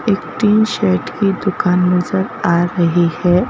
एक तीन शर्ट की दुकान नजर आ रही है।